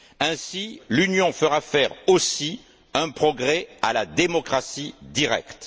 Ainsi, l'Union fera faire aussi un progrès à la démocratie directe.